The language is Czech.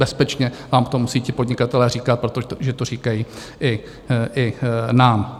Bezpečně vám to musí ti podnikatelé říkat, protože to říkají i nám.